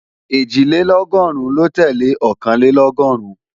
Ẹ̀jìlélọ́gọ́rùn ló tẹ́lẹ̀ Ọ̀kànlélọ́gọ́rùn